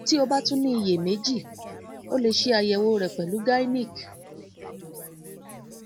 ti o ba tun ni iyemeji o le ṣayẹwo rẹ pẹlu gynec